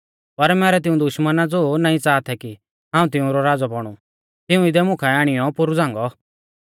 पर मैरै तिऊं दुश्मना ज़ो नाईं च़ाहा थै कि हाऊं तिउंरौ राज़ौ बौणु तिऊं इदै मुकाऐ आणियौ पोरु झ़ांगौ